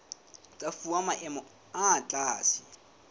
tsa fuwa maemo a tlase